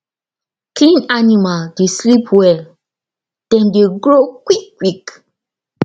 clean animal dey sleep well dem dey grow quick quick